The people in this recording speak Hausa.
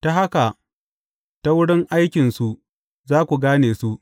Ta haka, ta wurin aikinsu za ku gane su.